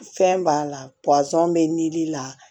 Fɛn b'a la pɔsɔn bɛ dili la